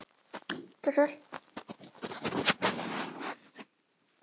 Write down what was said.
Hafði engum dottið í hug að hjúkra fyrr?